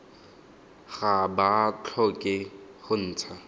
ga ba tlhoke go ntsha